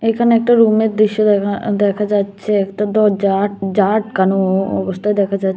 এখানে একটা রুমের দৃশ্য দেখা দেখা যাচ্ছে একটা দরজা যা আটকানো অবস্থায় দেখা যা--